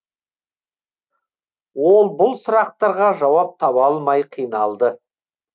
ол бұл сұрақтарға жауап таба алмай қиналды